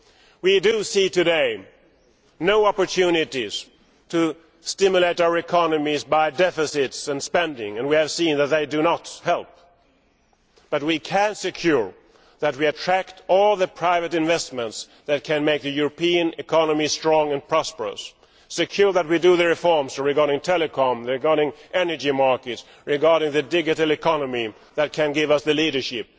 We do not see today any opportunities to stimulate our economies by deficits and spending, and we have seen that they do not help, but we can ensure that we attract all the private investments which can make the European economy strong and prosperous. Ensure that we carry out the reforms regarding telecoms, regarding the energy market, regarding the digital economy, which can give us the leadership.